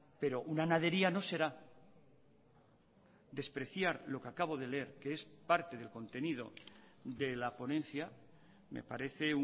pero una nadería no será despreciar lo que acabo de leer que es parte del contenido de la ponencia me parece